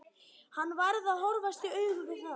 Hann varð að horfast í augu við það.